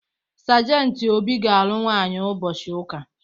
Sajentị Obi ga-alụ nwaanyị ụbọchị ụka.